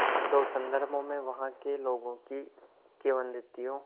दो संदर्भों में वहाँ के लोगों की किंवदंतियों